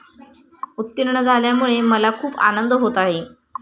उत्तीर्ण झाल्यामुळे मला खूप आनंद होत आहे.